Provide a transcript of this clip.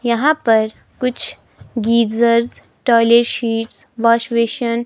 यहां पर कुछ geysers toilet seats wash basin --